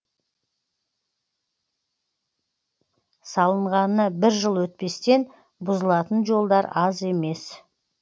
салынғанына бір жыл өтпестен бұзылатын жолдар аз емес